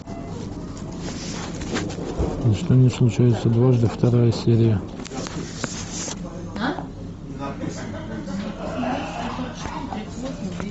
ничто не случается дважды вторая серия